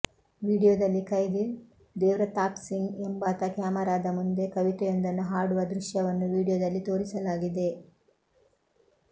ವಿಡಿಯೋದಲ್ಲಿ ಕೈದಿ ದೇವ್ಪ್ರತಾಪ್ಸಿಂಗ್ ಎಂಬಾತ ಕ್ಯಾಮರಾದ ಮುಂದೆ ಕವಿತೆಯೊಂದನ್ನು ಹಾಡುವ ದೃಶ್ಯವನ್ನು ವಿಡಿಯೋದಲ್ಲಿ ತೋರಿಸಲಾಗಿದೆ